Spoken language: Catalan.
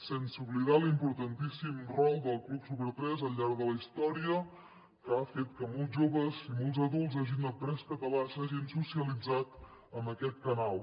sense oblidar l’importantíssim rol del club super3 al llarg de la història que ha fet que molts joves i molts adults hagin après català s’hagin socialitzat amb aquest canal